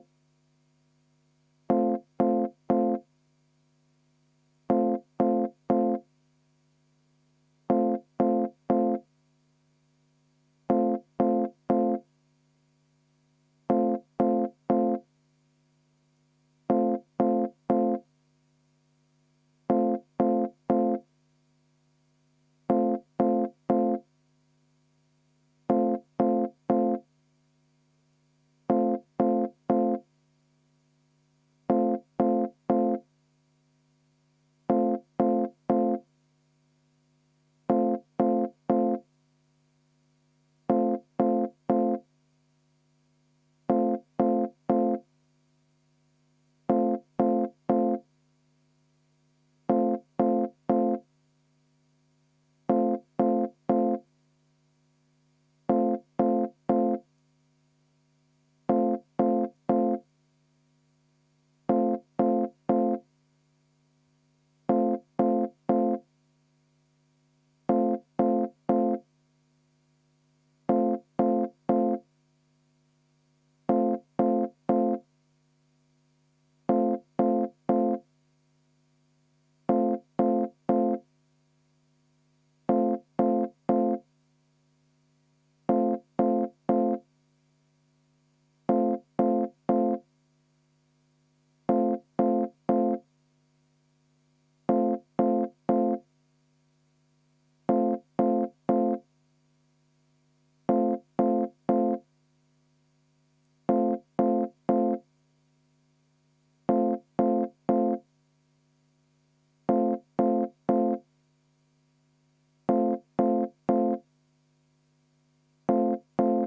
V a h e a e g